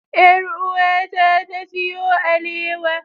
Yar'uwata ta siyo alewa.